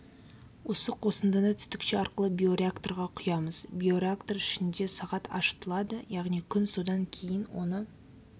осы қосындыны түтікше арқылы биореакторға құямыз биореактор ішінде сағат ашытылады яғни күн содан кейін оны